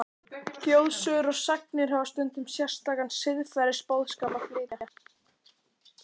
Þjóðsögur og sagnir hafa stundum sérstakan siðferðisboðskap að flytja.